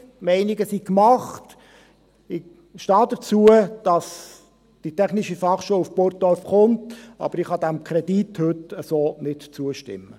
Die Meinungen sind gemacht dazu, dass die TF Bern nach Burgdorf kommt, aber ich kann diesem Kredit so heute nicht zustimmen.